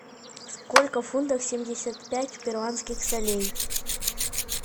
сколько фунтов семьдесят пять перуанских солей